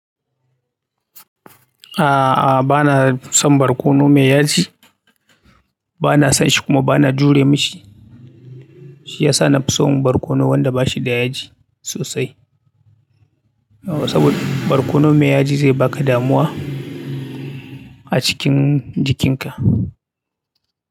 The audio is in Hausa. A'a, a'a bana son barkono mai yaji. Bana son shi kuma bana jure mishi. Shi ya sa na fi son barkono wanda bashi da yaji sosai. Saboda barkono mai yaji zai baka damuwa a cikin jikinka.